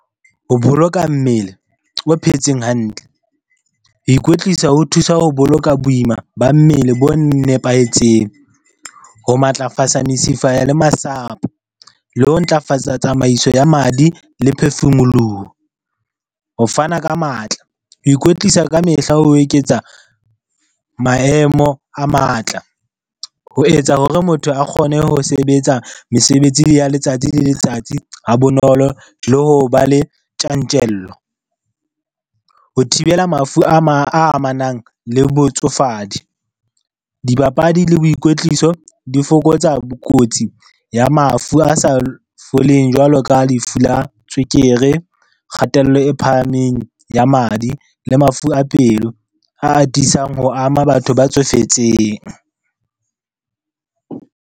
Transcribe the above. Ho boloka mmele o phetseng hantle, ho ikwetlisa ho thusa ho boloka boima ba mmele bo nepahetseng, ho matlafatsa mesifa le masapo le ho ntlafatsa tsamaiso ya madi le phefumoloho. Ho fana ka matla, ho ikwetlisa ka mehla ho eketsa maemo a matla ho etsa hore motho a kgone ho sebetsa mesebetsi ya letsatsi le letsatsi ha bonolo le ho ba le tjantjello. Ho thibela mafu a amanang le botsofadi, dibapadi le boikwetliso di fokotsa kotsi ya mafu a sa foleng jwalo ka lefu la tswekere, kgatello e phahameng ya madi le mafu a pelo a atisang ho ama batho ba tsofetseng.